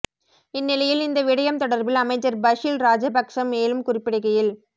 இந்நிலையில் இந்த விடயம் தொடர்பில் அமைச்சர் பஷில் ராஜபக்ஷ மேலும் குறிப்பிடுகையில்